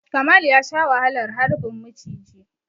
Kamal ya sha wahalar harbin muciji.